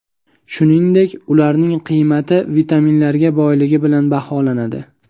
Shuningdek, ularning qiymati vitaminlarga boyligi bilan baholanadi.